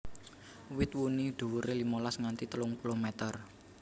Wit wuni dhuwuré limolas nganti telung puluh meter